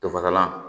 Fafasalan